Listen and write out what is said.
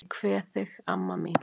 Ég kveð þig, amma mín.